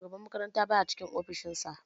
Shugaban makaranta baya cikin ofishin sa